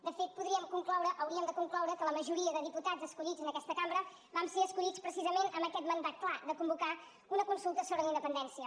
de fet podríem concloure hauríem de concloure que la majoria de diputats escollits en aquesta cambra vam ser escollits precisament amb aquest mandat clar de convocar una consulta sobre la independència